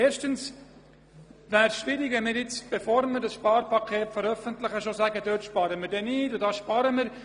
Erstens wäre es schwierig, wenn wir vor der Veröffentlichung des Sparpakets bereits sagten, dort werden wir nicht sparen und hier schon.